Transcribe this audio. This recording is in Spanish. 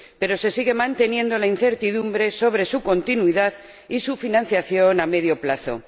Pero se sigue manteniendo la incertidumbre sobre su continuidad y su financiación a medio plazo.